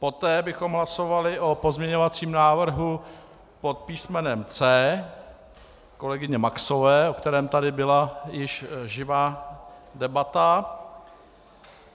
Poté bychom hlasovali o pozměňovacím návrhu pod písmenem C kolegyně Maxové, o kterém tady již byla živá debata.